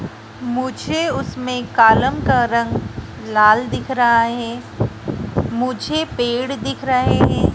मुझे उसमें कॉलम का रंग लाल दिख रहा है मुझे पेड़ दिख रहे हैं।